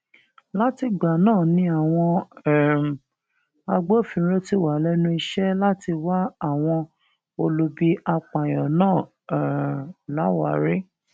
látìgbà náà ni àwọn um agbófinró ti wà lẹnu iṣẹ láti wá àwọn olubi apààyàn náà um láwárí